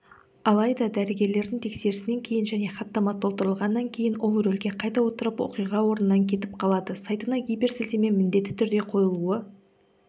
алайда дәрігерлердің тексерісінен кейін және хаттама толтырылғаннан кейін ол рөлге қайта отырып оқиға орнынан кетіп қалады сайтына гиперсілтеме міндетті түрде қойылуы